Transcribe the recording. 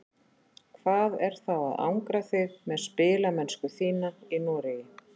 Hvað er þá að angra þig með spilamennsku þína í Noregi?